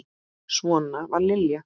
Svona var Lilja.